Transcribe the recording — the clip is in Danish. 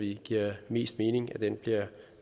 det giver mest mening at det bliver